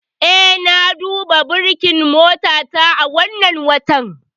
Eh, na duba burkin motata wannan watan.